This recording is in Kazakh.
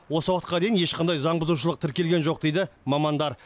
осы уақытқа дейін ешқандай заңбұзушылық тіркелген жоқ дейді мамандар